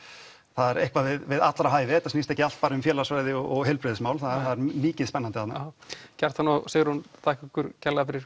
þar er eitthvað við allra hæfi þetta snýst ekki allt um félagsfræði og heilbrigðismál það er mikið spennandi þarna já Kjartan og Sigrún þakka ykkur kærlega fyrir